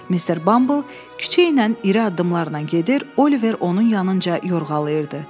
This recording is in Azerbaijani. Mister Bumble küçə ilə iri addımlarla gedir, Oliver onun yanınca yorğalayırdı.